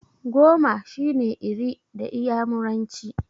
Goma shine 'Iri' da iyamuranci.